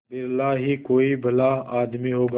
बिरला ही कोई भला आदमी होगा